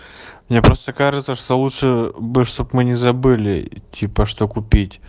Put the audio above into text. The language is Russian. мне просто кажется что лучше бы чтобы мы не забыли типа что купить